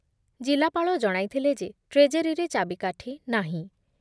ଜିଲ୍ଲାପାଳ ଜଣାଇଥିଲେ ଯେ ଟ୍ରେଜେରୀରେ ଚାବିକାଠି ନାହିଁ ।